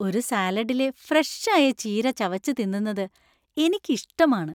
ഒരു സാലഡിലെ ഫ്രഷ് ആയ ചീര ചവച്ച് തിന്നുന്നത് എനിക്ക് ഇഷ്ടമാണ്.